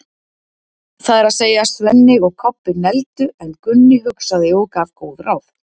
Það er að segja, Svenni og Kobbi negldu, en Gunni hugsaði og gaf góð ráð.